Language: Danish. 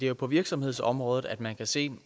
jo på virksomhedsområdet at man kan se